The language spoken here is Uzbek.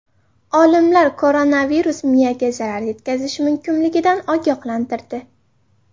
Olimlar koronavirus miyaga zarar yetkazishi mumkinligidan ogohlantirdi.